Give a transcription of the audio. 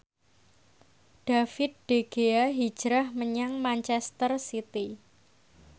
David De Gea hijrah menyang manchester city